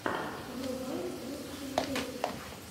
врубай лучшие песни